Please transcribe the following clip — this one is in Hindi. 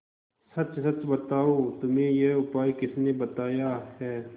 सच सच बताओ तुम्हें यह उपाय किसने बताया है